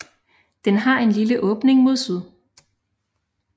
Den har en lille åbning mod syd